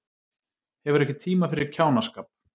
Hefur ekki tíma fyrir kjánaskap